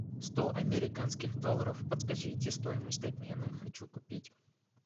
сто американских долларов подскажите стоимость обмена хочу купить